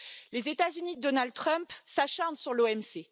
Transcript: Les États Unis de Donald Trump s'acharnent sur l'OMC.